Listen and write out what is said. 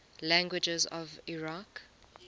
languages of iraq